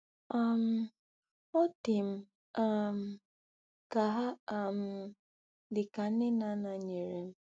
um Ọ dị m um ka ha um dị ka nne na nna nyere m.